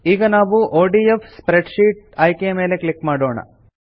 ಈಗ ನಾವು ODF spreadsheet ಆಯ್ಕೆ ಮೇಲೆ ಕ್ಲಿಕ್ ಮಾಡೋಣ